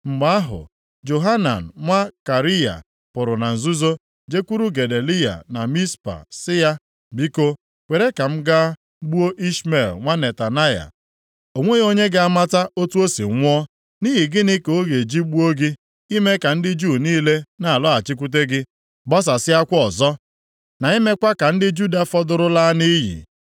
Mgbe ahụ, Johanan nwa Kariya pụrụ na nzuzo jekwuru Gedaliya na Mizpa sị ya, “Biko, kwere ka m gaa gbuo Ishmel nwa Netanaya. O nweghị onye ga-amata otu o si nwụọ. Nʼihi gịnị ka ọ ga-eji gbuo gị, ime ka ndị Juu niile na-alọghachikwute gị gbasasịakwa ọzọ, na imekwa ka ndị Juda fọdụrụ laa nʼiyi?”